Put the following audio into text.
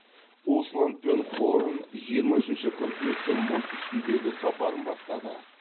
усланд пен хорн жиырма үшінші қыркүйекте мұз үстіндегі сапарын бастады